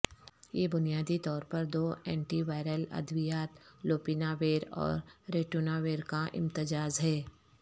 یہ بنیادی طور پر دو اینٹی وائرل ادویات لوپیناویر اور ریٹوناویر کا امتزاج ہے